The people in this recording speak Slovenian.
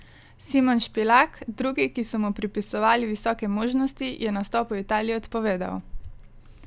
Simon Špilak, drugi, ki so mu pripisovali visoke možnosti, je nastop v Italiji odpovedal.